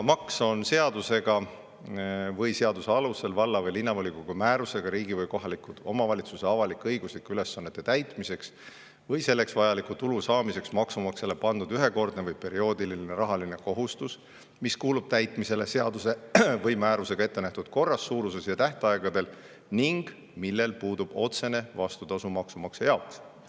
"Maks on seadusega või seaduse alusel valla- või linnavolikogu määrusega riigi või kohaliku omavalitsuse avalik-õiguslike ülesannete täitmiseks või selleks vajaliku tulu saamiseks maksumaksjale pandud ühekordne või perioodiline rahaline kohustus, mis kuulub täitmisele seaduse või määrusega ettenähtud korras, suuruses ja tähtaegadel ning millel puudub otsene vastutasu maksumaksja jaoks.